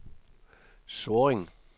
Sorring